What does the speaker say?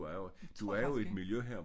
Tror jeg faktisk ikke